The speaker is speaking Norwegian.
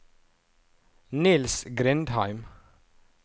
Niels Grindheim